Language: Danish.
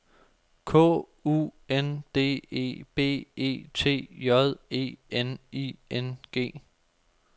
K U N D E B E T J E N I N G